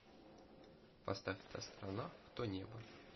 поставь та сторона в то небо